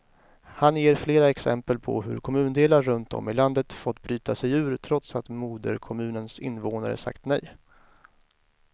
Han ger flera exempel på hur kommundelar runt om i landet fått bryta sig ur, trots att moderkommunens invånare sagt nej.